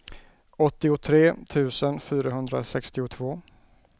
åttiotre tusen fyrahundrasextiotvå